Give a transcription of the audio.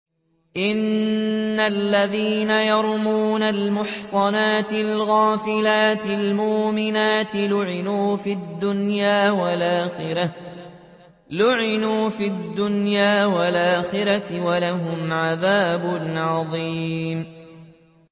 إِنَّ الَّذِينَ يَرْمُونَ الْمُحْصَنَاتِ الْغَافِلَاتِ الْمُؤْمِنَاتِ لُعِنُوا فِي الدُّنْيَا وَالْآخِرَةِ وَلَهُمْ عَذَابٌ عَظِيمٌ